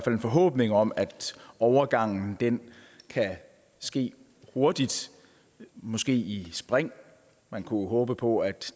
en forhåbning om at overgangen kan ske hurtigt måske i spring man kunne jo håbe på at